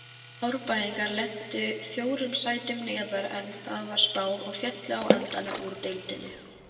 Árbæingar lentu fjórum sætum neðar en þeim var spáð og féllu á endanum úr deildinni.